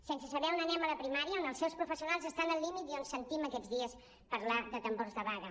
sense saber on anem a la primària on els seus professionals estan al límit i on sentim aquests dies parlar de tambors de vaga